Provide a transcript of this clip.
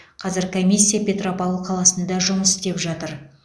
қазір комиссия петропавл қаласында жұмыс істеп жатыр